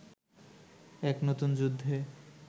এক নতুন যুদ্ধে